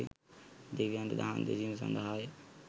දෙවියන්ට දහම් දෙසීම සඳහාය